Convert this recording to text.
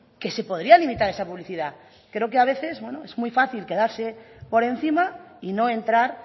que se podría limitar esa publicidad creo que a veces es muy fácil quedarse por encima y no entrar